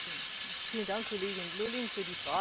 Vielen Dank, Kollegin Lulling, für die Frage.